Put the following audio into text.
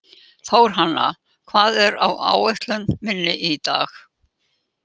Þórhanna, hvað er á áætluninni minni í dag?